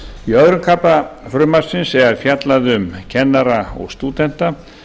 í öðrum kafla frumvarpsins er fjallað um kennara og stúdenta